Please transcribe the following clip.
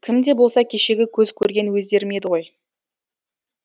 кім де болса кешегі көз көрген өздерім еді ғой